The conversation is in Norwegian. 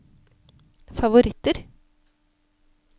favoritter